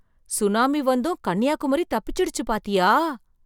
Tsunami வந்தும் கன்னியாகுமரி தப்பிச்சிடுச்சு பாத்தியா!